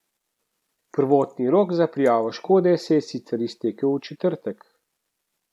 Prvotni rok za prijavo škode se je sicer iztekel v četrtek.